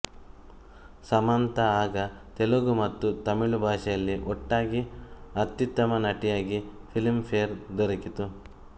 ಸಮಂತಾ ಆಗ ತೆಲುಗು ಮತ್ತು ತಮಿಳು ಭಾಷೆಯಲ್ಲಿ ಒಟ್ಟಾಗಿ ಅತ್ಯುತ್ತಮ ನಟಿಯಾಗಿ ಫಿಲಿಮ್ ಫೇರ್ ದೊರಕಿತು